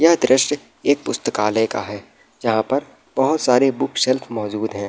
यह दृश्य एक पुस्तकालय का है जहां पर बहुत सारी बुक सेल्फ मौजूद है।